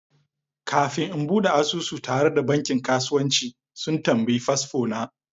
Kafin in bude asusu tare da bankin kasuwanci, sun tambayi fasfo na.